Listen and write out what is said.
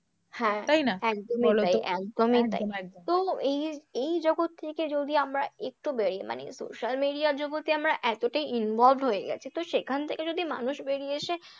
হ্যাঁ, তাই না একদমই তাই, একদমই তাই, একদম একদম তো এই এই জগৎ থেকে যদি আমরা একটু বেরোই মানে social media র জগতে আমরা এতটাই involved হয়ে গেছি তো সেখান থেকে যদি মানুষ বেরিয়ে এসে